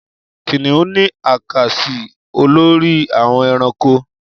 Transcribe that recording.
Kìnìún ni a kà sí olórí àwọn ẹranko